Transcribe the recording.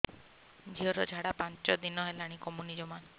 ଝିଅର ଝାଡା ପାଞ୍ଚ ଦିନ ହେଲାଣି କମୁନି ଜମା